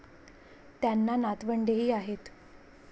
त्यांना नातवंडेही आहेत.